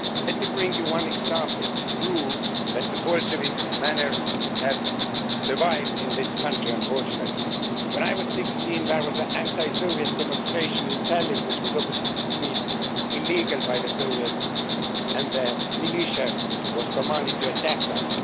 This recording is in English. Let me cite you one example to show that the Bolshevist manners have survived in this country, unfortunately. When I was 16 there was an anti Soviet demonstration in Tallinn which was obviously declared illegal by the Soviets, and their militia was commanded to attack us.